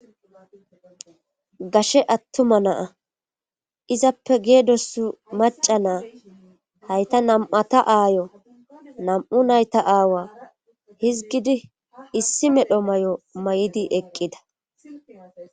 Gaashe attuma naa izappe geedos maca naa hayta nam'ata aayo nam'u nayta aawa hizgidi issi medho mayo mayidi eqqida.